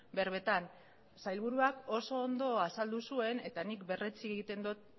berbetan sailburuak oso ondo azaldu zuen eta nik berretsi egiten dut